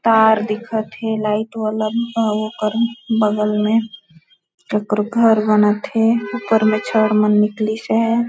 तार दिखाते लाइट वाला कर बगल में कर घर बना थे ऊपर में छड़ मन निकली से है।